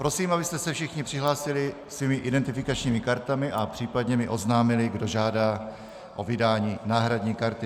Prosím, abyste se všichni přihlásili svými identifikačními kartami a případně mi oznámili, kdo žádá o vydání náhradní karty.